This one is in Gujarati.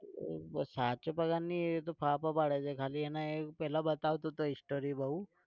સાચો પગાર નહિ એ તો ફાફા પાડે છે ખાલી એને પહેલા બતાવતો story બહુ